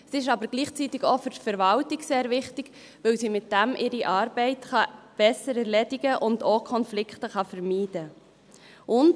Es ist aber gleichzeitig für die Verwaltung auch sehr wichtig, weil sie damit ihre Arbeit besser erledigen und auch Konflikte vermeiden kann.